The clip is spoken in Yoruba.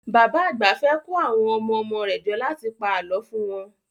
Bàbá àgbà fẹ́ kó àwọn ọmọ-ọmọ rẹ̀ jọ láti pa àlọ́ fún wọn